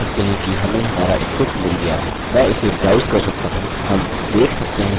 मैंने इसे ब्राउस कर सकता हूँ हम देख सकते हैं हमारे पास फाइल्स हैं जिसे हम उपलोड कर सकते हैं